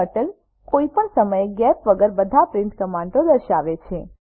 turtle કોઇ પણ સમય ગેપ વગર બધા પ્રિન્ટ કમાન્ડો દર્શાવે છે